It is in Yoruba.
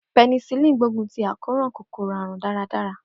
Penicillin gbógun ti àkóràn kòkòrò àrùn dáradára.